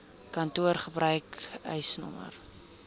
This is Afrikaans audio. kantoor gebruik eisnr